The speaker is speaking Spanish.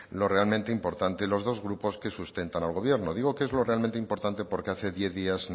lo realmente importante los dos grupos que sustentan al gobierno digo que es lo realmente importante porque hace diez días